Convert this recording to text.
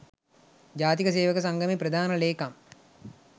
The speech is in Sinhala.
ජාතික සේවක සංගමයේ ප්‍රධාන ලේකම්.